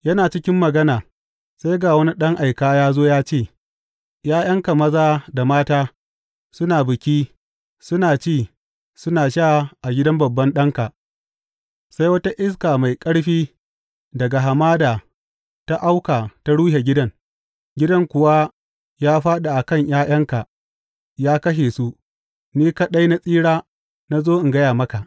Yana cikin magana, sai ga wani ɗan aika ya zo ya ce, ’Ya’yanka maza da mata suna biki, suna ci suna sha a gidan babban ɗanka, sai wata iska mai ƙarfi daga hamada ta auka ta rushe gidan, gidan kuwa ya fāɗi a kan ’ya’yanka ya kashe su, ni kaɗai na tsira na zo in gaya maka!